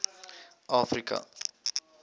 afrika